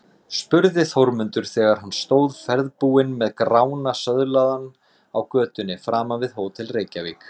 spurði Þórmundur þegar hann stóð ferðbúinn með Grána söðlaðan á götunni framan við Hótel Reykjavík.